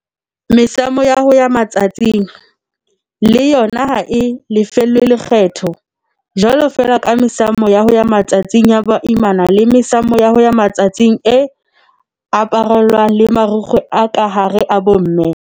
Mesamo ya ho ya matsatsing, diphete, le yona ha e lefellwe lekgetho, jwalo feela ka mesamo ya ho ya matsatsing ya boimana le mesamo ya ho ya matsatsing e aparellwang le marukgwe a ka hare a bomme.